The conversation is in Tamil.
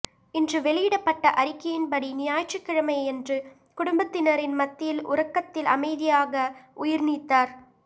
இன்று வெளியிடப்பட்ட அறிக்கையின்படி ஞாயிற்றுக்கிழமையன்று குடும்பத்தினரின் மத்தியில் உறக்கத்தில் அமைதியாக உயிர் நீத்தார்